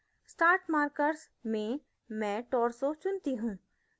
start markers में मैं torso चुनती हूँ